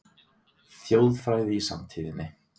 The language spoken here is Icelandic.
Þjóðfræði í samtíðinni